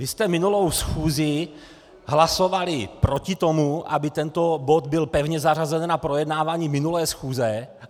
Vy jste minulou schůzi hlasovali proti tomu, aby tento bod byl pevně zařazen na projednávání minulé schůze.